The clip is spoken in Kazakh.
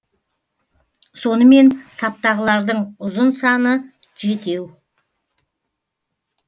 сонымен саптағылардың ұзын саны жетеу